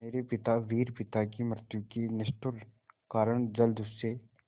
मेरे पिता वीर पिता की मृत्यु के निष्ठुर कारण जलदस्यु